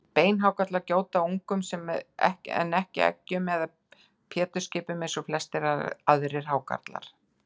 Beinhákarlar gjóta ungum en ekki eggjum eða pétursskipum eins og flestir aðrir hákarlar.